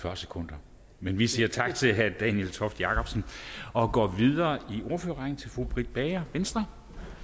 fyrre sekunder men vi siger tak til herre daniel toft jakobsen og går videre i ordførerrækken til fru britt bager venstre